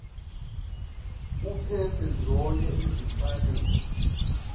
uphetha zonke izimfanelo